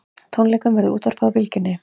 Tónleikunum verður útvarpað á Bylgjunni